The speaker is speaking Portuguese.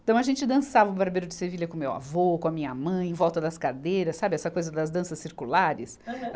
Então a gente dançava o Barbeiro de Sevilha com o meu avô, com a minha mãe, em volta das cadeiras, sabe, essa coisa das danças circulares? Aham.